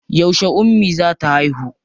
Yauce ummi za ta haihu?